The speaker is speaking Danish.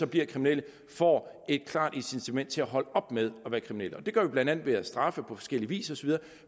bliver kriminelle får et klart incitament til at holde op med at være kriminel det gør vi blandt andet ved at straffe på forskellig vis